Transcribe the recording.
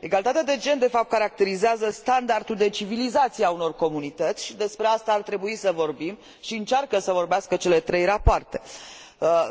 Egalitatea de gen, de fapt, caracterizează standardul de civilizație al unor comunități și despre asta ar trebui să vorbim și încearcă să vorbească cele trei rapoarte.